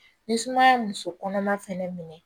Ni sumaya ye muso kɔnɔma fɛnɛ minɛ